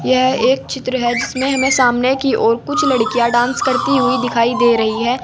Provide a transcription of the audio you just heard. यह एक चित्र है जिसमें हमें सामने की ओर कुछ लड़कियां डांस करती हुई दिखाई दे रही हैं।